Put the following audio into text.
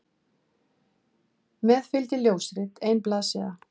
Með fylgdi ljósrit, ein blaðsíða.